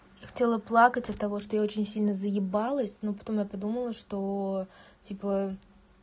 я хотела плакать от того что я очень сильно заебалась но потом я подумала что типа